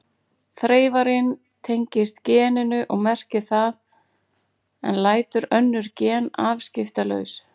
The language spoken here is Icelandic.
Þreifarinn tengist geninu og merkir það en lætur önnur gen afskiptalaus.